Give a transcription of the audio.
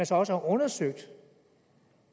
så også har undersøgt